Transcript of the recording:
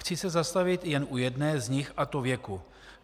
Chci se zastavit jen u jedné z nich, a to věku.